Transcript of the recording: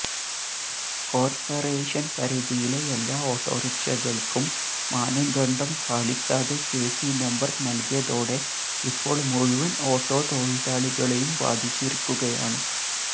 corporation പരിധിയിലെ എല്ലാ ഓട്ടോറിക്ഷകള്ക്കും മാനദണ്ഡം പാലിക്കാതെ കെസി നമ്പര് നല്കിയതോടെ ഇപ്പോള് മുഴുവന് ഓട്ടോ തൊഴിലാളികളെയും ബാധിച്ചിരിക്കുകയാണ്